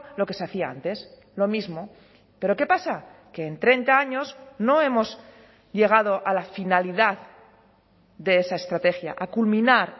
lo que se hacía antes lo mismo pero qué pasa que en treinta años no hemos llegado a la finalidad de esa estrategia a culminar